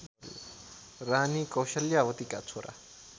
रानी कौसल्यावतीका छोरा